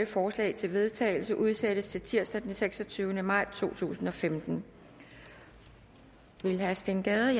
forslag til vedtagelse udsættes til tirsdag den seksogtyvende maj to tusind og femten vil herre steen gade